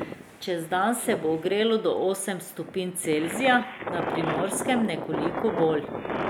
Čez dan se bo ogrelo do osem stopinj Celzija, na Primorskem nekoliko bolj.